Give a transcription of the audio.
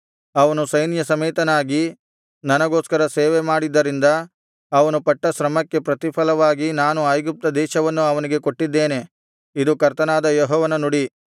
ಅವನು ಸೈನ್ಯ ಸಮೇತನಾಗಿ ನನಗೋಸ್ಕರ ಸೇವೆ ಮಾಡಿದ್ದರಿಂದ ಅವನು ಪಟ್ಟ ಶ್ರಮಕ್ಕೆ ಪ್ರತಿಫಲವಾಗಿ ನಾನು ಐಗುಪ್ತ ದೇಶವನ್ನು ಅವನಿಗೆ ಕೊಟ್ಟಿದ್ದೇನೆ ಇದು ಕರ್ತನಾದ ಯೆಹೋವನ ನುಡಿ